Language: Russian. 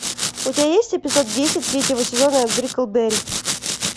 у тебя есть эпизод десять третьего сезона бриклберри